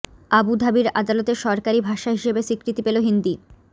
আবু ধাবির আদালতে সরকারি ভাষা হিসেবে স্বীকৃতি পেল হিন্দি